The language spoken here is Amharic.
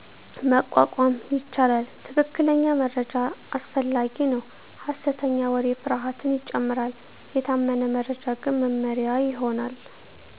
መቋቋም ይቻላል። ትክክለኛ መረጃ አስፈላጊ ነው ሐሰተኛ ወሬ ፍርሃትን ይጨምራል፤ የታመነ መረጃ ግን መመሪያ ይሆናል።